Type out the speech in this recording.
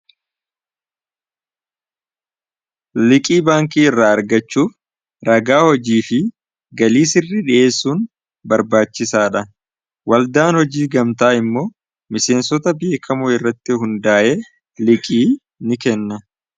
Liqii baankii irraa argachuuf ragaa hojii fi galii sirri dhiheessuun barbaachisaa dha. Waldaan hojii gamtaa immoo miseensota beekamuu irratti hundaa'e liqii ni kenna.